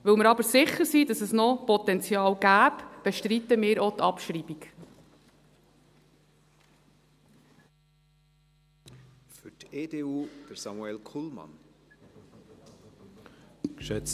Weil wir aber sicher sind, dass es noch Potenzial gäbe, bestreiten wir auch die Abschreibung.